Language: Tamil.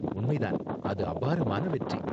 உண்மை தான்! அது அபாரமான வெற்றி.